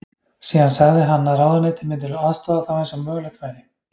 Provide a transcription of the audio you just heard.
Síðan sagði hann að ráðuneytið myndi aðstoða þá eins og mögulegt væri.